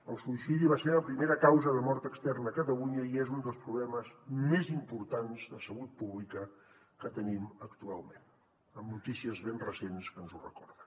el suïcidi va ser la primera causa de mort externa a catalunya i és un dels problemes més importants de salut pública que tenim actualment amb notícies ben recents que ens ho recorden